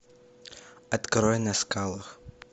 открой на скалах